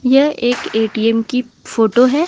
यह एक A T M की फोटो है।